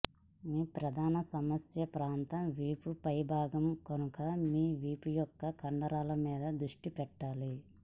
మీ ప్రధాన సమస్య ప్రాంతం వీపు పై భాగం కనుక మీ వీపు యొక్క కండరాల మీద దృష్టి పెట్టాలి